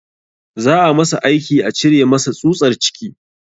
Za a masa aiki a cire masa tsutsar ciki